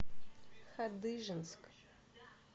хадыженск